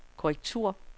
korrektur